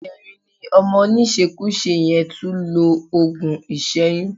Ìjẹrin ni ọmọ oníṣekúṣe yẹn tún lo òògùn ìṣẹ́yún